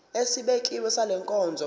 esibekiwe sale nkonzo